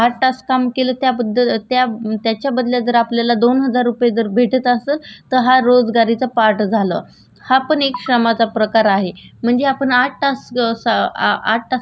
हा पण एक श्रमाचा प्रकार आहे म्हणजे आपण आठ तास च अ आठ तासासाठी जे काम करतो त्याबद्दल आपल्याला जे पैसे भेटतात हा आर्थिक मोबदला आणि हाच रोजगारी श्रमाचा प्रकार आहे.